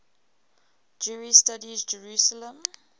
jewish studies jerusalem